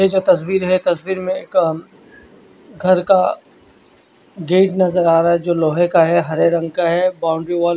ये जो तस्वीर है तस्वीर में एक घर का गेट नज़र आ रहा है जो लोहे का है हरे रंग का है बाउंड्री वाल --